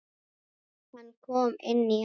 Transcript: Hann kom inn í hana.